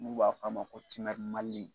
N'u b'a fɔ a ma ko